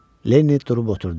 Lenni durub oturdu.